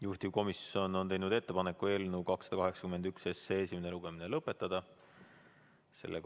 Juhtivkomisjon on teinud ettepaneku eelnõu 281 esimene lugemine lõpetada.